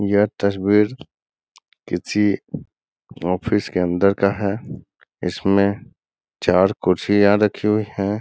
ये तस्वीर किसी ऑफिस के अंदर का है इसमें चार कुर्सियां रखी हुई है।